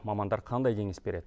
мамандар қандай кеңес береді